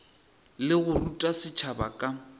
le go ruta setšhaba ka